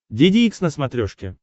деде икс на смотрешке